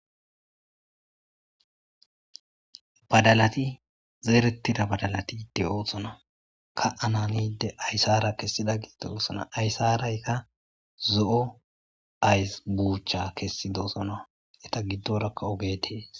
badalati zeerettida badalatide oohsona ka ananide aysara kessida giddeosona ayssarayka zo7o ays buucha kessi doosona eta giddorakka ogetees.